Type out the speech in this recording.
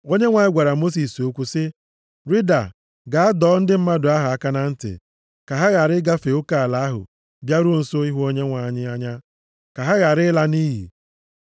Onyenwe anyị gwara Mosis okwu sị, “Rịda gaa dọọ ndị mmadụ ahụ aka na ntị ka ha ghara ịgafe oke ala ahụ bịaruo nso ịhụ Onyenwe anyị anya ka ha ghara ịla nʼiyi.